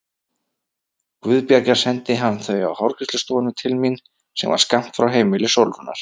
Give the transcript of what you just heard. Guðbjargar sendi hann þau á hárgreiðslustofuna til mín sem var skammt frá heimili Sólrúnar.